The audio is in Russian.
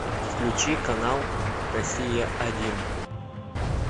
включи канал россия один